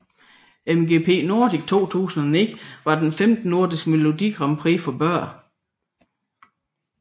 MGP Nordic 2009 var det femte nordiske Melodi Grand Prix for børn